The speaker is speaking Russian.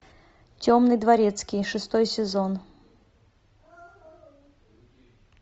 темный дворецкий шестой сезон